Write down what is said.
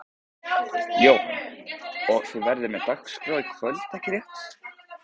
Jóhann: Og þið verðið með dagskrá í kvöld ekki rétt?